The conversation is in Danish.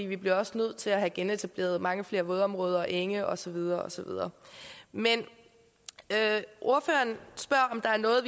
vi bliver også nødt til at have genetableret mange flere vådområder enge og så videre og så videre men ordføreren spørger om der er noget